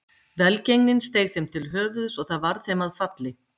Velgengnin steig þeim til höfuðs og það varð þeim að falli.